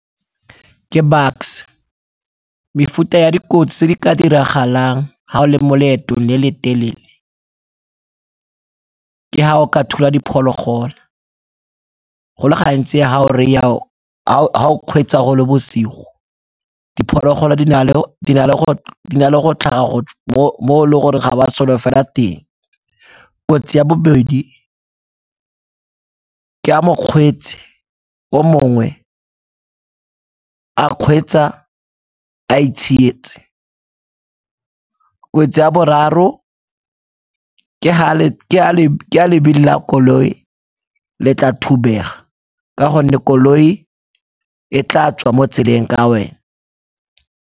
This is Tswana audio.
Ke Bucks-e, mefuta ya dikotsi tse di ka diragalang ha o le mo leetong le le telele ke ha o ka thula diphologolo go le gantsi ha o kgweetsa go le bosigo, diphologolo di na le go tlhaga mo e le gore ga o a solofela teng. Kotsi ya bobedi ke ha mokgweetsi o mongwe a kgweetsa a itshietse, kotsi ya boraro ke ha lebili la koloi le tla thubega ka gonne koloi e tla tswa mo tseleng ka wena.